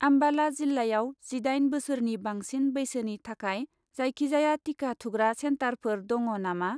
आम्बाला जिल्लायाव जिदाइन बोसोरनि बांसिन बैसोनि थाखाय जायखिजाया टिका थुग्रा सेन्टारफोर दङ नामा?